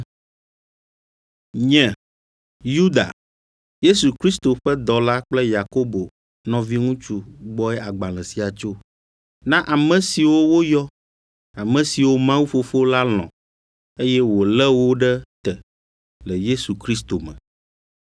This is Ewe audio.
Nye, Yuda, Yesu Kristo ƒe dɔla kple Yakobo nɔviŋutsu gbɔe agbalẽ sia tso, Na ame siwo woyɔ, ame siwo Mawu Fofo la lɔ̃, eye wòlé wo ɖe te le Yesu Kristo me: